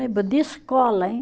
De escola, hein?